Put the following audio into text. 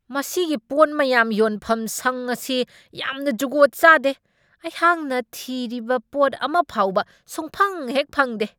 ꯃꯁꯤꯒꯤ ꯄꯣꯠ ꯃꯌꯥꯝ ꯌꯣꯟꯐꯝꯁꯪ ꯑꯁꯤ ꯌꯥꯝꯅ ꯖꯨꯒꯣꯠ ꯆꯥꯗꯦ ꯫ ꯑꯩꯍꯥꯛꯅ ꯊꯤꯔꯤꯕ ꯄꯣꯠ ꯑꯃꯐꯥꯎꯕ ꯁꯨꯛꯐꯪ ꯍꯦꯛ ꯐꯪꯗꯦ ꯫